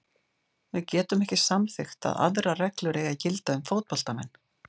Við getum ekki samþykkt að aðrar reglur eigi að gilda um fótboltamenn.